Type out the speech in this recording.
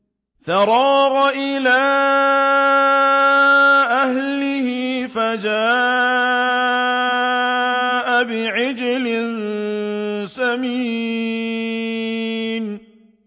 فَرَاغَ إِلَىٰ أَهْلِهِ فَجَاءَ بِعِجْلٍ سَمِينٍ